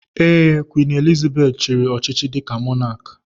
Ee, Queen Elizabeth chiri ọchịchị dika mọnak